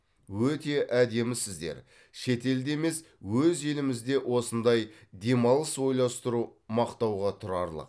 өте әдемісіздер шетелде емес өз елімізде осындай демалыс ойластыру мақтауға тұрарлық